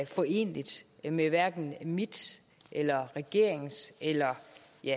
foreneligt med hverken mit eller regeringens eller